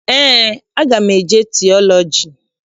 Eé, aga m eje tiọlọji.